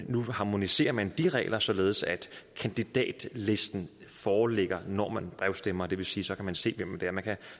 nu harmoniserer man de regler således at kandidatlisten foreligger når man brevstemmer og det vil sige så kan se hvem det er man kan